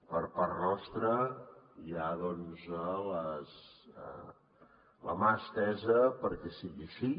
per part nostra hi ha doncs la mà estesa perquè sigui així